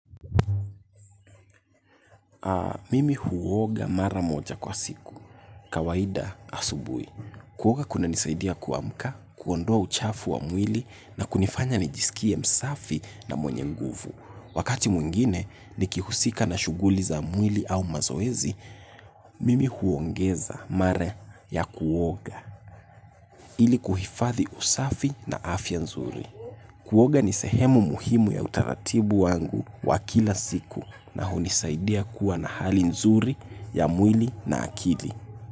Mimi huoga mara moja kwa siku. Kawaida asubui. Kuoga kunanisaidia kuamka, kuondoa uchafu wa mwili na kunifanya nijisikie msafi na mwenye nguvu. Wakati mwingine nikihusika na shughuli za mwili au mazoezi, mimi huongeza mara ya kuoga ili kuhifadhi usafi na afya nzuri. Kuoga ni sehemu muhimu ya utaratibu wangu wa kila siku na hunisaidia kuwa na hali nzuri ya mwili na akili.